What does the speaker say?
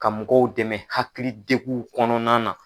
Ka mɔgɔw dɛmɛ hakilidegunw kɔnɔna na.